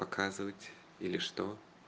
показывать или что